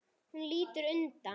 Hún lítur undan.